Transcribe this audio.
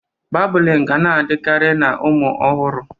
Babụlịn ga na-adịkarị na ụmụ ọhụrụ.